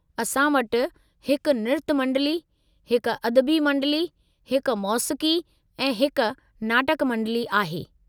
असां वटि हिक निर्तु मंडली, हिक अदबी मंडली, हिक मौसीक़ी ऐं हिकु नाटक मंडली आहे।